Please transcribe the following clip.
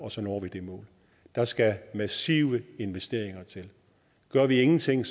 at så når vi det mål der skal massive investeringer til gør vi ingenting